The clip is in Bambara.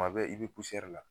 Kuma bɛɛ i be la.